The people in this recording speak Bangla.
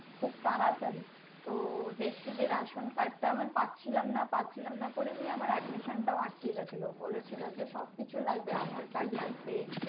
খুব তারাতারি তো দেখছি যে ration card টা আমার পাচ্ছিলাম না পাচ্ছিলাম না করে নিয়ে আমার admission টাও আটকে গেছিলো বলেছিলো যে সবকিছুই লাগবে aadhar card লাগবে